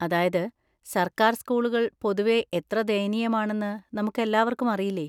അതായത്, സർക്കാർ സ്കൂളുകൾ പൊതുവെ എത്ര ദയനീയമാണെന്ന് നമുക്കെല്ലാവർക്കും അറിയില്ലേ?